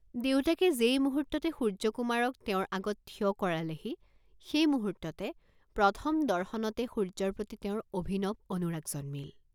দেউতাকে যেই মুহূৰ্ত্ততে সূৰ্য্যকুমাৰক তেওঁৰ আগত থিয় কৰালেহি সেই মুহূৰ্ত্ততে, প্ৰথম দৰ্শনতে সূৰ্য্যৰ প্ৰতি তেওঁৰ অভিনৱ অনুৰাগ জন্মিল।